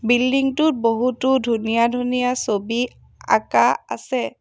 Building টোত বহুতো ধুনীয়া ধুনীয়া ছবি আঁকা আছে।